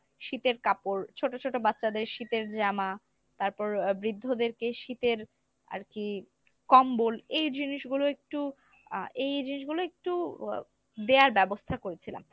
শীতের কাপড় ছোটো ছোটো বাচ্চাদের শীতের জামা তারপর আহ বৃদ্ধদেরকে শীতের আরকি কম্বল এই জিনিসগুলো একটু আহ এই জিনিসগুলো ইকটু দেয়ার ব্যবস্থা করেছিলাম